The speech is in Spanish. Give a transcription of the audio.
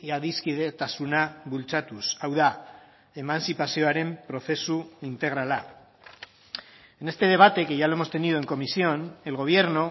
adiskidetasuna bultzatuz hau da emantzipazioaren prozesu integrala en este debate que ya lo hemos tenido en comisión el gobierno